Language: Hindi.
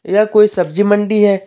यह कोई सब्जी मंडी है।